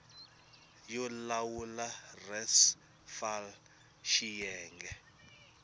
yo lawula res fal xiyenge